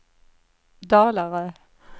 Dalarö